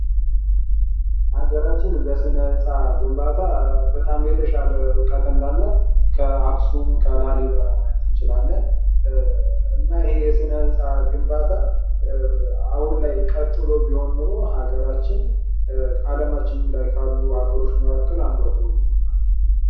ፋሲል ግቢ : በጎንደር ከተማ የሚገኝ በ17ኛው ክፍለ ዘመን በአጼ ፋሲል የተመሰረተ የንጉሣዊ ግቢ ነው። በውስጡ የተለያዩ ቤተ መንግሥታት፣ አብያተ ክርስቲያናት፣ የአንበሳ ቤትና ሌሎች ታሪካዊ ሕንፃዎችን ይዟል።